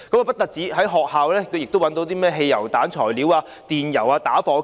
不僅如此，在學校亦找到製造汽油彈的材料、電油和打火機。